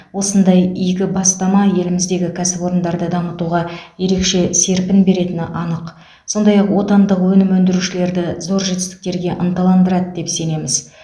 осындай игі бастама еліміздегі кәсіпорындарды дамытуға ерекше серпін беретіні анық сондай ақ отандық өнім өндірушілерді зор жетістіктерге ынтандандырады деп сенеміз